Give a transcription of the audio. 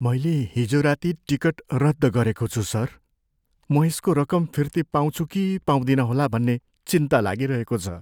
मैले हिजो राति टिकट रद्द गरेको छु सर। म यसको रकम फिर्ती पाउँछु कि पाउँदिनँ होला भन्ने चिन्ता लागिरहेको छ।